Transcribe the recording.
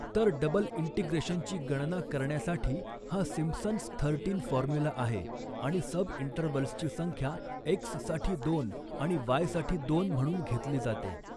तर डबल इंटिग्रेशनची गणना करण्यासाठी हा सिम्पसन्स थर्टीन फॉर्म्युला आहे आणि सबइंटर्व्हल्सची संख्या एक्स साठी दोन आणि वाय साठी दोन म्हणून घेतली जाते.